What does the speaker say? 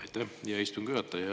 Aitäh, hea istungi juhataja!